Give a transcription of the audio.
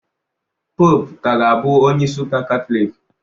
Poopu ka ga-abụ onye isi Ụka Katọlik.